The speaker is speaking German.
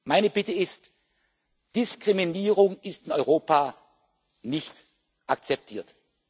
Meine Bitte ist Diskriminierung ist in Europa nicht zu akzeptieren.